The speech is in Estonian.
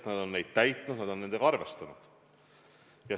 Inimesed on neid täitnud, nad on nendega arvestanud.